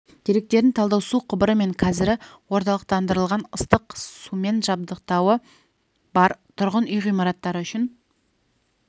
деректерін талдау су құбыры мен кәрізі орталықтандырылған ыстық сумен жабдықтауы бар тұрғын үй ғимараттары үшін